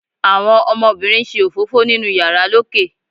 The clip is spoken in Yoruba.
àwọn ọmọbínrín n ṣe òfófó ninu iyàrá lókè